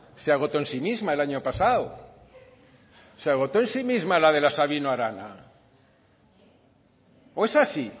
se agotó en sí misma el año pasado se agotó en sí misma la de la sabino arana o esa sí